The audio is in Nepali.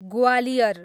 ग्वालियर